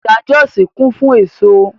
Ọjà Jọ́òsì kún fún èso